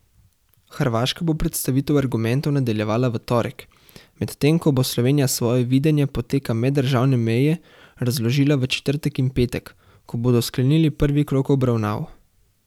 Hrvaška bo predstavitev argumentov nadaljevala v torek, medtem ko bo Slovenija svoje videnje poteka meddržavne meje razložila v četrtek in petek, ko bodo sklenili prvi krog obravnav.